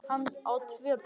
Hann á tvö börn.